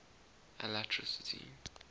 alatricity